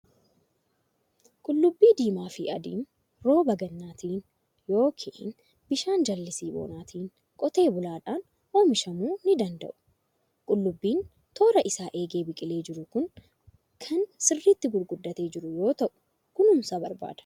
Qullubbii diimaa fi adiin rooba gannaatiin yookin bishaan jallisii bonaatiin qotee bulaadhaan oomishamuu ni danda'u. Qullubbiin toora isaa eegee biqilee jiru kun kan sirriitti gurguddatee jiru yoo ta'u, kunuunsa barbaada.